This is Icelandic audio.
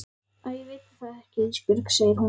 Æ ég veit það ekki Ísbjörg, segir hún.